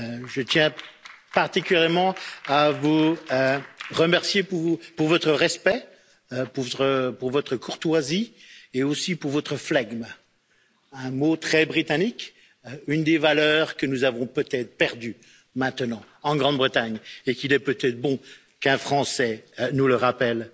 Je tiens particulièrement à vous remercier pour votre respect, pour votre courtoisie et aussi pour votre flegme, un mot très britannique et une des valeurs que nous avons peut être perdue, maintenant, en Grande Bretagne et qu'il est peut être bon qu'un Français nous rappelle.